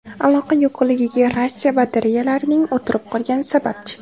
Aloqa yo‘qligiga ratsiya batareyalarining o‘tirib qolgani sababchi.